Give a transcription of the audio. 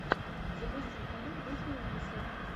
запусти фильм в духе ужасов